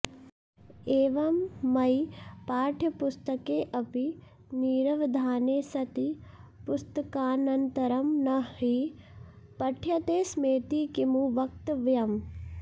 एवं मयि पाठ्यपुस्तकेऽपि निरवधाने सति पुस्तकानन्तरं न हि पठ्यते स्मेति किमु वक्तव्यम्